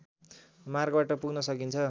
मार्गबाट पुग्न सकिन्छ